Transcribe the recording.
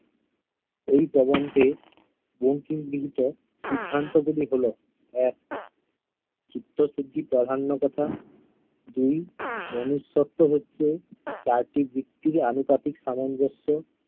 এই প্রবন্ধে বঙ্কিম বিদিত সিদ্ধান্তগুলি হলো- এক চিত্তশুদ্ধি প্রাধান্যকতা, দুই মনুষত্ব্য হচ্ছে ভিত্তিক আনুতাপিক সামঞ্জস্য